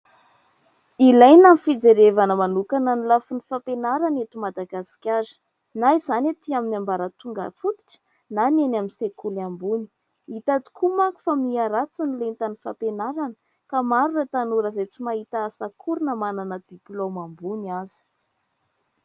Ilaina ny fijerevana manokana ny lafiny fampianarana eto Madagasikara. Na izany aty amin'ny ambaratonga fototra na ny eny amin'ny sekoly ambony. Hita tokoa manko fa miharatsy ny lentan'ny fampianarana ka maro ireo tanora izay tsy mahita asa akory na manana diplaoma ambony aza.